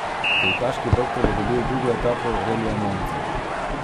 Dirkaški doktor je dobil drugo etapo relija Monza.